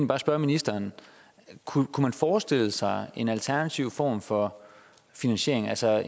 bare spørge ministeren kunne man forestille sig en alternativ form for finansiering altså